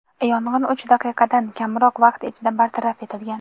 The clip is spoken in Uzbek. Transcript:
Yong‘in uch daqiqadan kamroq vaqt ichida bartaraf etilgan.